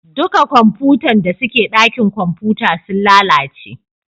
Duka kwamfutan da suke dakin kwamfuta sun lalace